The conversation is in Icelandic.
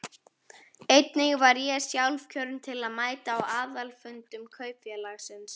Einnig var ég sjálfkjörinn til að mæta á aðalfundum kaupfélagsins.